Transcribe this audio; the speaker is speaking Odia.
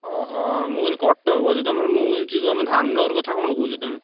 ଅହ! ମୁଁ କହିଲି କଟକ ବୋଲି ତମର ମୁଁ କହୁଛି ତମେ ଧାମନଗର କଥା କଣ କହୁଛ ତମେ?